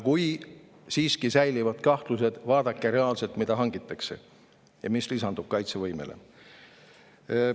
Kui siiski säilivad kahtlused, siis vaadake, mida reaalselt hangitakse ja mis lisandub kaitsevõimele.